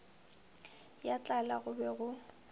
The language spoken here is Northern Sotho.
ya tlala go be go